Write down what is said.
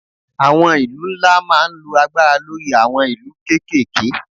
Àwọn ìlú ńlá máa ń lo agbára lórí àwọn ìlú kéékèèké